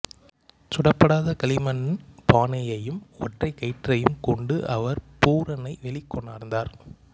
சுடப்படாத களிமண் பானையையும் ஒற்றைக் கயிற்றையும் கொண்டு அவர் பூரனை வெளிக்கொணர்ந்தார்